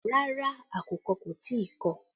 Rárá, àkùkọ kò tí ì kọ̀